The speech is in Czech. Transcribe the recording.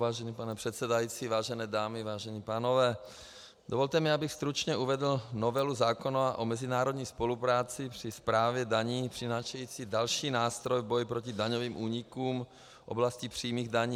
Vážený pane předsedající, vážené dámy, vážení pánové, dovolte mi, abych stručně uvedl novelu zákona o mezinárodní spolupráci při správě daní přinášející další nástroj v boji proti daňovým únikům v oblasti přímých daní.